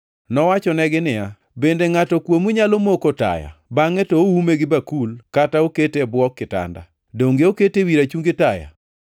Nowachonegi niya, “Bende ngʼato kuomu nyalo moko taya bangʼe to oume gi bakul kata okete e bwo kitanda? Donge okete ewi rachungi taya?